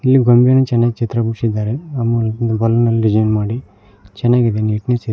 ಇಲ್ಲಿ ಗೊಂಬೆಯನ್ನು ಚೆನ್ನಾಗ ಚಿತ್ರ ಬಿಡಿಸಿದ್ದಾರೆ ಡಿಸೈನ್ ಮಾಡಿ ಚೆನ್ನಾಗಿದೆ ನಿಟ್ನೆಸ್ ಇದೆ.